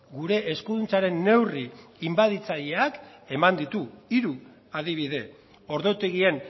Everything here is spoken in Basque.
gure eskuduntzaren neurri inbaditzaileak eman ditu hiru adibide ordutegien